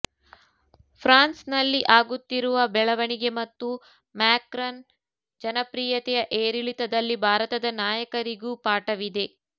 ಫ್ರಾನ್ಸ್ನಲ್ಲಿ ಆಗುತ್ತಿರುವ ಬೆಳವಣಿಗೆ ಮತ್ತು ಮ್ಯಾಕ್ರನ್ ಜನಪ್ರಿಯತೆಯ ಏರಿಳಿತದಲ್ಲಿ ಭಾರತದ ನಾಯಕರಿಗೂ ಪಾಠವಿದೆ